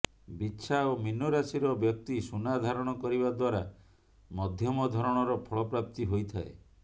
ବିଛା ଓ ମୀନ ରାଶିର ବ୍ୟକ୍ତି ସୁନା ଧାରଣ କରିବା ଦ୍ବାରା ମଧ୍ୟମ ଧରଣର ଫଳ ପ୍ରାପ୍ତି ହୋଇଥାଏ